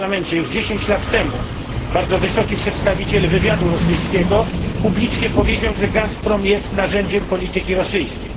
Już 10 lat temu bardzo wysoki przedstawiciel wywiadu rosyjskiego publicznie powiedział, że Gazprom jest narzędziem polityki rosyjskiej.